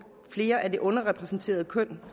flere af det underrepræsenterede køn